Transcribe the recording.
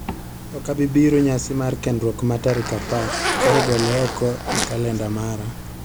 Ok abi biro nyasi mar kenduok ma tarik apar, koro gole oko e kalenda mara